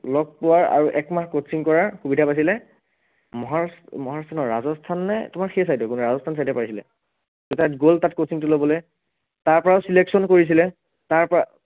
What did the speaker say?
লগ পোৱাৰ আৰু এক মাহ coaching কৰাৰ সুবিধা পাইছিলে, মহৰ্ষ মহৰ্ষ নহয় ৰাজস্থান নে তোমাৰ সেই side ৰ ৰাজস্থান side এ পাইছিলে, ত তাত গল তাত coaching টো লবলে তাৰ পৰাও selection কৰিছিলে, তাৰপৰা